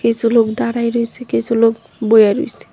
কিছু লোক দাঁড়াইয়া রইছে কিছু লোক বইয়া রইছে।